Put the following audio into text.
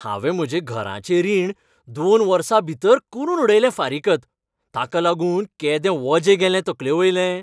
हांवें म्हजें घराचें रीण दोन वर्सां भितर करून उडयलें फारीकत, ताका लागून केदें वजें गेलें तकलेवयलें.